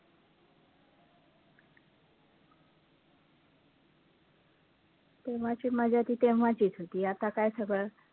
तेव्हाची मजा तेव्हाचीच होती, आता काय सगळं